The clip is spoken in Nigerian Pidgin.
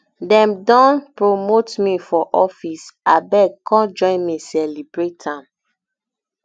dem don promote me for office abeg come join me celebrate am